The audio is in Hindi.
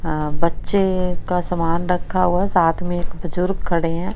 अह बच्चे का समान रखा हुआ है साथ में एक बुजुर्ग खड़े हैं।